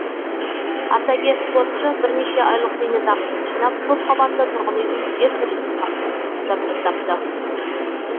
ардагер спортшы бірнеше айлық зейнетақысын жинап көпқабатты тұрғын үйдің жертөлесін жабдықтапты